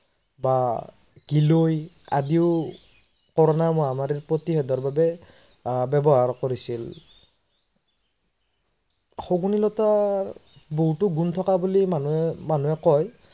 বা গীলয় আদিও corona মহামাৰীৰ প্ৰতিসেধৰ বাবে আহ ব্যৱহাৰ কৰিছিল। শগুনী লতাৰ বহুতো গুণ থকা বুলি মানুহে কয়